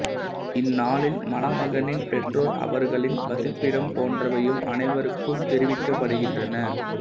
இந்நாளில் மணமகனின் பெற்றோர் அவர்களின் வசிப்பிடம் போன்றவையும் அனைவருக்கும் தெரிவிக்கப்படுகின்றன